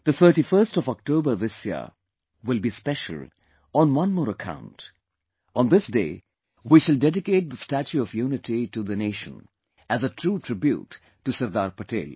The 31st of October this year will be special on one more account on this day, we shall dedicate the statue of unity of the nation as a true tribute to Sardar Patel